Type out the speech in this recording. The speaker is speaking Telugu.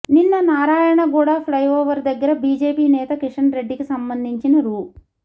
నిన్న నారాయణ గూడ ఫ్లైఓవర్ దగ్గర బీజేపీ నేత కిషన్ రెడ్డికి సంబంధించిన రూ